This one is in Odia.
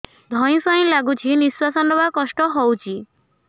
ଧଇଁ ସଇଁ ଲାଗୁଛି ନିଃଶ୍ୱାସ ନବା କଷ୍ଟ ହଉଚି